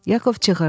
Yakov çığırdı.